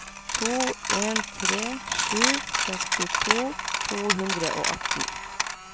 to en tre sju sekstito to hundre og atten